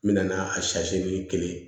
N mɛna a kelen